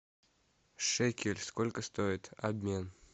шекель сколько стоит обмен